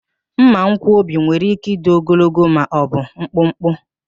Mmankwọbi nwere ike ịdị ogologo ma o bụ mkpụmkpụ